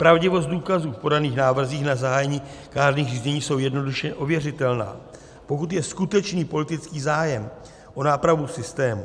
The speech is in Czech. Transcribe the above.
Pravdivost důkazů v podaných návrzích na zahájení kárných řízení jsou jednoduše ověřitelná, pokud je skutečný politický zájem o nápravu systému.